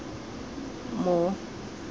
more